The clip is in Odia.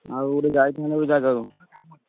ଆଉ ଗୋଟେ ଯାଇଥାନ୍ତେ ଜାଗାକୁ।